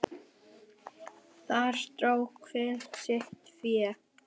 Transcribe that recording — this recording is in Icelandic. Þar dró hver sitt fé.